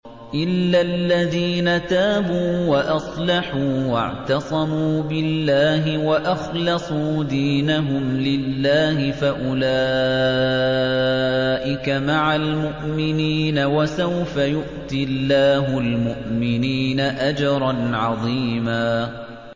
إِلَّا الَّذِينَ تَابُوا وَأَصْلَحُوا وَاعْتَصَمُوا بِاللَّهِ وَأَخْلَصُوا دِينَهُمْ لِلَّهِ فَأُولَٰئِكَ مَعَ الْمُؤْمِنِينَ ۖ وَسَوْفَ يُؤْتِ اللَّهُ الْمُؤْمِنِينَ أَجْرًا عَظِيمًا